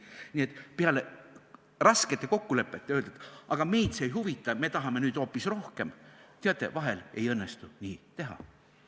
Nii et kui peale raskete kokkulepete sõlmimist öelda, aga meid see ei huvita, me tahame nüüd hoopis rohkem – teate, vahel ei õnnestu nii teha.